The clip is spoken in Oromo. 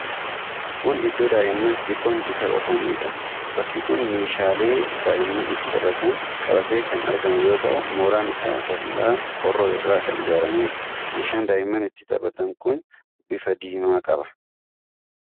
Kun iddoo daa'imman xixiqqoon itti taphataniidha. Bakki kun meeshaalee daa'imman itti taphatan qabatee kan argamu yoo ta'u mooraan isaa dallaa qorqoorroo irraa kan ijaaramedha. meeshaan daa'imman itti taphatan kun bifa diimaa qaba.